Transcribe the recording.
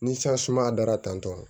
Ni san sumaya dara tantɔ